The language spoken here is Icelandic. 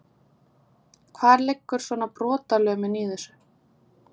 Hvar liggur svona brotalömin í þessu?